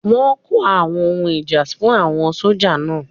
Wọ́n kó àwọn ohun ìjà fún àwọn sójà náà